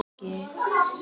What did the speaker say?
Farðu í megrun eða ekki.